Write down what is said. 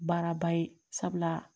Baaraba ye sabula